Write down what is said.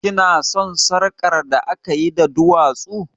Ki na son sarƙar da akayi da duwatsu?